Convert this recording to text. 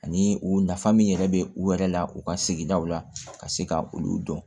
Ani o nafa min yɛrɛ bɛ u yɛrɛ la u ka sigidaw la ka se ka olu dɔn